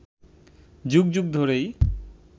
যুগ যুগ ধরেই